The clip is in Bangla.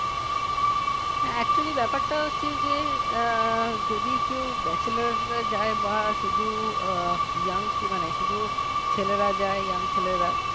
হ্যাঁ actually ব্যাপারটা হচ্ছে যে, যদি কেউ bachelor হয়ে যায় বা শুধু young কি মানে শুধু ছেলেরা যায় young ছেলেরা